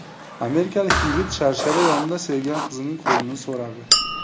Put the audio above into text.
Amerikalik yigit sharshara yonida sevgan qizining qo‘lini so‘radi.